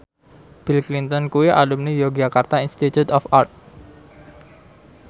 Bill Clinton kuwi alumni Yogyakarta Institute of Art